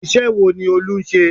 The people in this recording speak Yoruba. Iṣẹ́ wo ni Olú ń ṣe?